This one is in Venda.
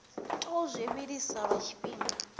tou zwi vhilisa lwa tshifhinga